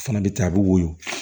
O fana bɛ taa a bɛ woyo